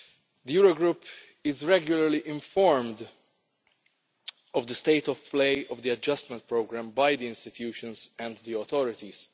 The Eurogroup is regularly informed of the state of play of the adjustment programme by the institutions and the authorities.